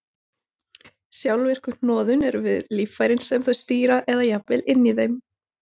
Sjálfvirku hnoðun eru við líffærin sem þau stýra eða jafnvel inni í þeim.